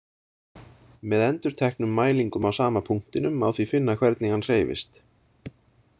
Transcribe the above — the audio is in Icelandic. Með endurteknum mælingum á sama punktinum má því finna hvernig hann hreyfist.